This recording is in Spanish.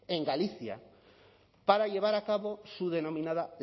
en galicia para llevar a cabo su denominada